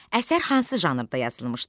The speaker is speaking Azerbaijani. Əsər hansı janrda yazılmışdı?